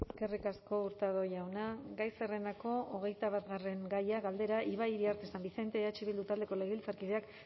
eskerrik asko hurtado jauna gai zerrendako hogeita batgarren gaia galdera ibai iriarte san vicente eh bildu taldeko legebiltzarkideak